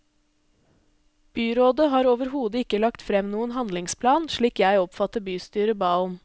Byrådet har overhodet ikke lagt frem noen handlingsplan slik jeg oppfatter bystyret ba om.